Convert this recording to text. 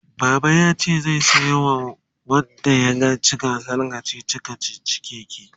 baba yace zai saya wa wanda yaci gasar kachichi kachichin keke